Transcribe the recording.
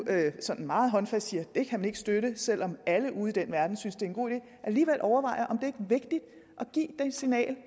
sådan meget håndfast siger at det kan man ikke støtte selv om alle ude i den verden synes at det er en god idé alligevel overvejer om det ikke er vigtigt at give det signal